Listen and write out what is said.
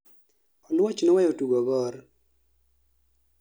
oluoch noweyo tugo gor